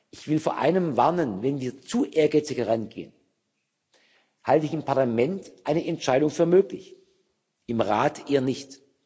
Ich will vor einem warnen Wenn wir zu ehrgeizig herangehen, halte ich im Parlament eine Entscheidung für möglich, im Rat eher nicht.